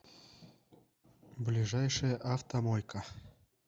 ближайшая автомойка